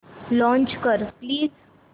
launch कर please